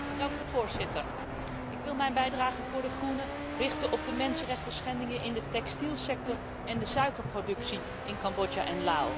Voorzitter, ik wil mijn bijdrage voor de Groenen richten op de mensenrechtenschendingen in de textielsector en de suikerproductie in Cambodja en Laos.